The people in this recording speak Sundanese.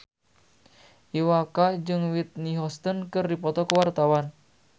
Iwa K jeung Whitney Houston keur dipoto ku wartawan